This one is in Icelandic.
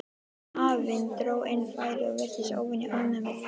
Afinn dró inn færið og virtist óvenju ánægður með lífið.